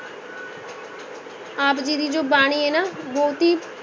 ਆਪ ਜੀ ਦੀ ਜੋ ਬਾਣੀ ਹੈ ਨਾ